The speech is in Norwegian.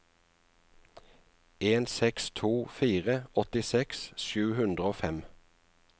en seks to fire åttiseks sju hundre og fem